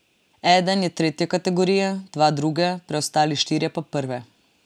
Eden je tretje kategorije, dva druge, preostali štirje pa prve.